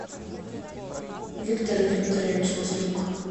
виктор викторович маслюк